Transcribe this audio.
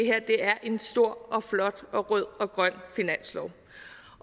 er en stor og flot og rød og grøn finanslov